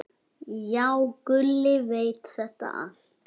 Já, Gulli veit þetta allt.